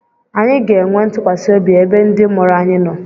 Anyị ga-enwe ntụkwasị obi ebe ndị mụrụ anyị nọ.